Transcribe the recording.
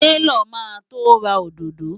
Taylor máa to ra òdòdó.